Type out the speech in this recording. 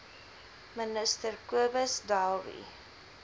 minister cobus dowry